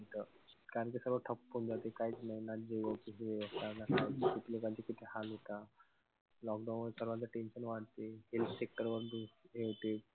कारण कि सर्व ठप्प होऊन जाते. काई च नाई ना खूप लोकांचे किती हाल होता. Lockdown मुळे सर्वांचे tension वाढते. Health sector हे होते.